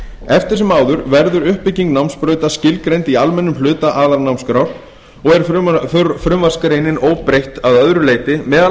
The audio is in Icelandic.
eftir sem áður verður uppbygging námsbrautar skilgreind í almennum hluta aðalnámskrár og er frumvarpsgreinin óbreytt að öðru leyti meðal